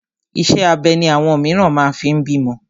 Iṣẹ́ abẹ ni àwọn mìíràn máa fi ń bímọ.